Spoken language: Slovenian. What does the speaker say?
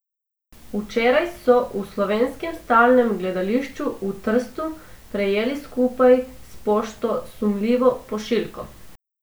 Včeraj so v Slovenskem stalnem gledališču v Trstu prejeli skupaj s pošto sumljivo pošiljko.